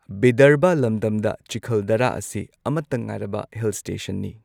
ꯕꯤꯗꯔꯚꯥ ꯂꯝꯗꯝꯗ, ꯆꯤꯈꯜꯗꯔꯥ ꯑꯁꯤ ꯑꯃꯠꯇ ꯉꯥꯏꯔꯕ ꯍꯤꯜ ꯁ꯭ꯇꯦꯁꯟꯅꯤ꯫